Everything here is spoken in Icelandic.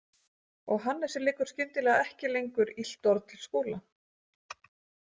Og Hannesi liggur skyndilega ekki lengur illt orð til Skúla.